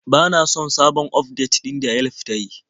Bana son sabon ufdet ɗin da Yelf ta yi.